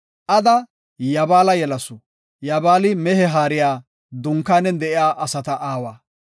Ada Yabaala yelasu. Yaabali mehe haariyanne dunkaanen de7iya asata aawa.